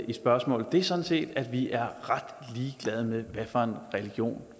i spørgsmålet er sådan set at vi er ret ligeglade med hvad for en religion